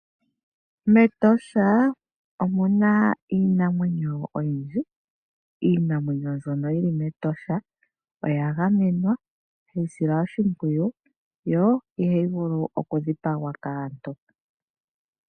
MEtosha omuna iinamwenyo oyindji. Iinamwenyo mbyono yili mEtosha oya gamenwa hayi silwa oshimpwiyu yo ihayi vulu oku dhipagwa kaantu